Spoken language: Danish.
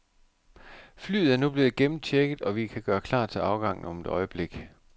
Flyet er nu blevet gennemchecket, og vi kan gøre klar til afgang om et øjeblik.